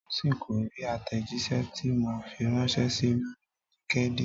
Tósìn kò rí àtẹ̀jíṣẹ́ tí mo fi ránṣẹ́ si lórí LinkedIn